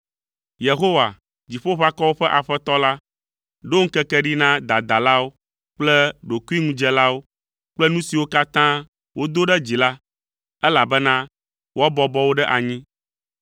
Yehowa, Dziƒoʋakɔwo ƒe Aƒetɔ la, ɖo ŋkeke ɖi na dadalawo kple ɖokuiŋudzelawo kple nu siwo katã wodo ɖe dzi la (elabena woabɔbɔ wo ɖe anyi).